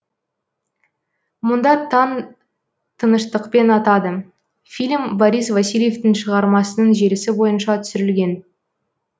мұнда таң тыныштықпен атады фильм борис васильевтың шағармасының желісі бойынша түсірілген